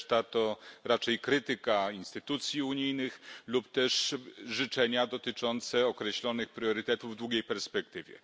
Reszta to raczej krytyka instytucji unijnych lub też życzenia dotyczące określonych priorytetów w długiej perspektywie.